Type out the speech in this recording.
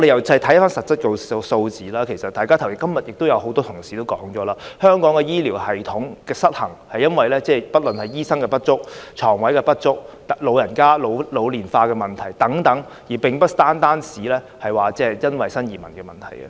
從實質數字看來，今天也有很多同事提到，香港的醫療系統失衡是由於醫生不足、床位不足，以及人口老化，而非單單在於新移民問題。